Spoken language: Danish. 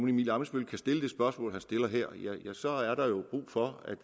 emil ammitzbøll kan stille det spørgsmål som han stiller her ja så er der jo brug for at